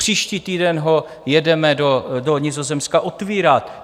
Příští týden ho jedeme do Nizozemska otevírat.